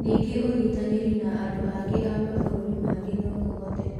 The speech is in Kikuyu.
Ningũ ũnyitanĩri na andũ a mabũrũri mangĩ no kũhote